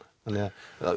þannig